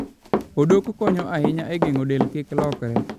Odok konyo ahinya e geng'o del kik lokre.